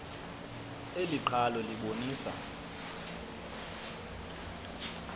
eli qhalo libonisa